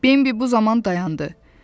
Bembi bu zaman dayandı.